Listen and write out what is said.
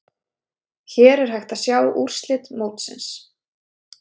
Hér er hægt að sjá úrslit mótsins.